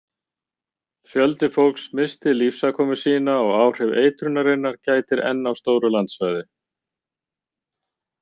Fjöldi fólks missti lífsafkomu sína og áhrifa eitrunarinnar gætir enn á stóru landsvæði.